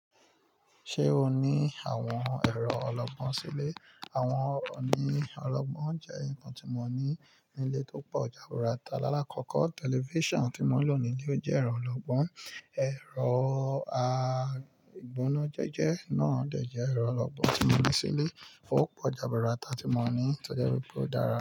Ṣé o ní àwọn ẹ̀rọ ọlọ́gbọ́n sílé? Àwọn oní ọlọ́gbọ́n jẹ́ nǹkan tí mo ní nílé tó po jaburata. Láàkọ́kọ́, tẹlifíṣàn tí mò ń lò nílé o jẹ́ ẹ̀rọ ọlọ́gbọ́n. Ẹ̀rọ agbónojẹjẹ náà dẹ̀ jẹ́ ẹ̀rọ ọlọ́gbọ́n tí mo ní sílé ó pọ̀ jaburata tí mo ní. Tójẹ́ wípé ó dára.